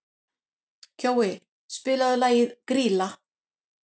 Kjói, spilaðu lagið „Grýla“.